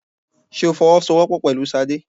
Ṣé o fọwọ́ sọ wọ́pọ̀ pẹ̀lú Ṣadé?